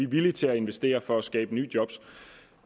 villige til at investere for at skabe nye job